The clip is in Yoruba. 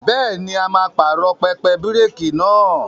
Bẹ́ẹ̀ni, a máa pààrọ̀ pẹpẹ bíréékì náà.